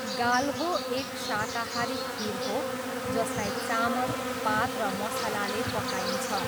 गाल्हो एक शाकाहारी खिर हो जसलाई चामल, पात र मसलाले पकाइन्छ।